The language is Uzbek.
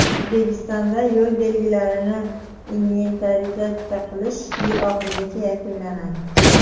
O‘zbekistonda yo‘l belgilarini inventarizatsiya qilish yil oxirigacha yakunlanadi.